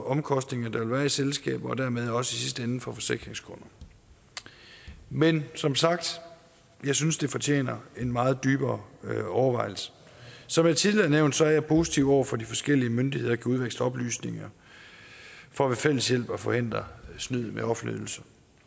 omkostninger der vil være i selskaberne og sidste ende for forsikringskunderne men som sagt jeg synes det fortjener en meget dybere overvejelse som jeg tidligere har nævnt er jeg positiv over for at de forskellige myndigheder kan udveksle oplysninger for ved fælles hjælp at forhindre snyd med offentlige ydelser